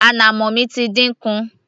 ànàmọ́ mi ti dínkù